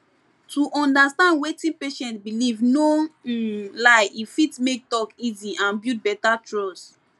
to understand wetin patient believe no um lie e fit make talk easy and build better trust